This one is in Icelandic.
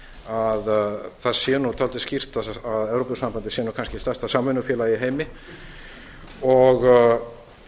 að það sé dálítið skýrt að evrópusambandið sé nú kannski stærsta samvinnufélag í heimi og